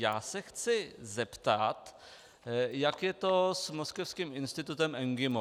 Já se chci zeptat, jak je to s moskevským institutem MGIMO.